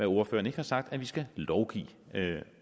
ordføreren ikke har sagt at vi skal lovgive